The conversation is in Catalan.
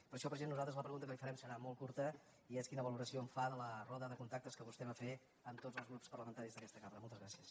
per això president nosaltres la pregunta que li farem serà molt curta i és quina valoració en fa de la roda de contactes que vostè va fer amb tots els grups parlamentaris d’aquesta cambra moltes gràcies